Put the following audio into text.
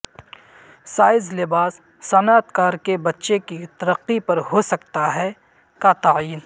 size لباس صنعت کار کے بچے کی ترقی پر ہو سکتا ہے کا تعین